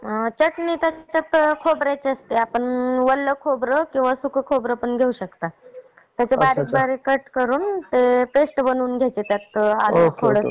चटणी तर तास खोबऱ्याची असते. आपण ओला खोबरं किंवा सुक्का खोबरं पण घेऊ शकता. त्याची बारीक बारीक कट करून ते पेस्ट बनवून घेतात. त्यात आले थोडासा.